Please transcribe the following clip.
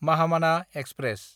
Mahamana express